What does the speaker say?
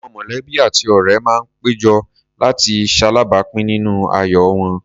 Àwọn mọ̀lẹ́bí àti ọ̀ré máa pé jọ, láti ṣaláàápín nínú ayọ̀ wọn.